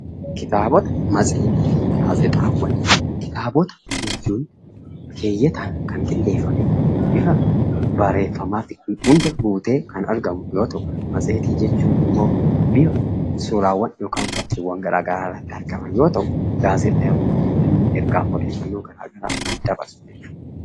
Kitaabota jechuun keeyyataan kan qindeeffamee, bifa barreeffamaatiin hunda guutee kan argamu yoo ta'u, matseetii jechuun immoo bifa suuraawwan yookiin fakkiiwwan garaa garaa irratti argaman yoo ta'u, gaazexaawwan jechuun immoo ergaa odeeffannoo garaa garaa kan dabarsu jechuudha.